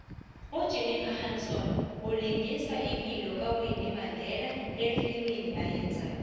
ujenifer hudson ulingisa ipilo kawinnie mandela efilimini ayezako